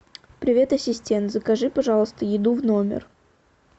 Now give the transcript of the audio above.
привет ассистент закажи пожалуйста еду в номер